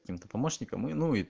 каким-то помощником и ну и